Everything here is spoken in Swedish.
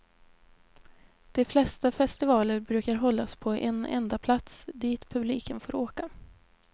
De flesta festivaler brukar hållas på en enda plats, dit publiken får åka.